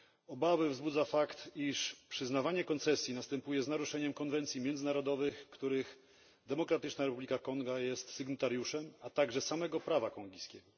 Obawy wzbudza fakt, iż przyznawanie koncesji następuje z naruszeniem konwencji międzynarodowych, których Demokratyczna Republika Konga jest sygnatariuszem, a także samego prawa kongijskiego.